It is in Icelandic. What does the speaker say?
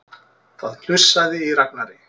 Það hnussaði í Ragnari.